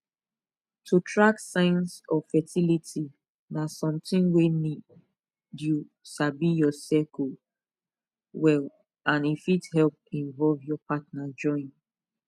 to track signs of fertility na something wey need you sabi your cycle well and e fit help invovle your partner join